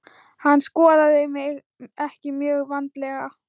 Hann skoðaði mig ekki mjög vandlega.